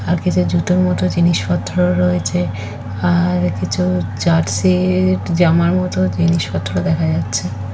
আর কিছু জুতোর মতো জিনিসপত্র ও রয়েছে। আর কিছু জার্সি একটি জামার মতো জিনিসপত্র দেখা যাচ্ছে।